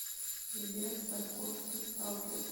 сбер тарковский сталкер